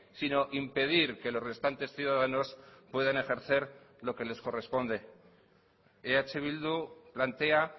sino impedir que los restantes ciudadanos puedan ejercer lo que les corresponde eh bildu plantea